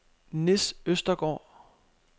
Nis Østergård